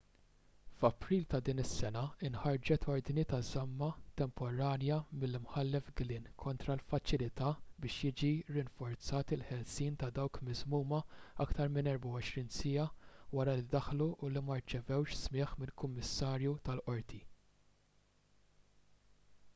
f'april ta' din is-sena inħarġet ordni ta' żamma temporanja mill-imħallef glynn kontra l-faċilità biex jiġi rinforzat il-ħelsien ta' dawk miżmuma aktar minn 24 siegħa wara li ddaħlu u li ma rċevewx smigħ minn kummissarju tal-qorti